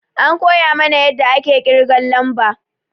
An koya mana yadda ake ƙirgan lamba